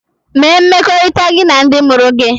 Mee mmekọrịta gị na ndị mụrụ gị!